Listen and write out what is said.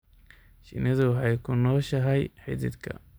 Shinnidu waxay ku nooshahay xididka.